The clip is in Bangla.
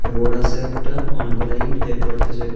রোড আসে একটা অনেকগুলা ইট দেখতে পারতাসে।